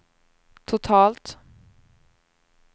totalt